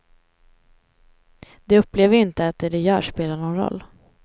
De upplever ju inte att det de gör spelar någon roll.